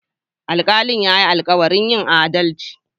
Alkalin ya yi alkawarin yin adalci.